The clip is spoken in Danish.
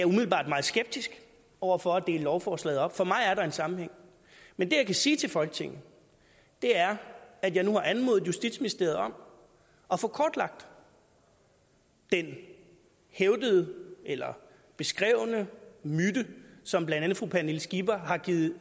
umiddelbart meget skeptisk over for at dele lovforslaget op for mig er der en sammenhæng men det jeg kan sige til folketinget er at jeg nu har anmodet justitsministeriet om at få kortlagt den hævdede eller beskrevne myte som blandt andet fru pernille skipper har givet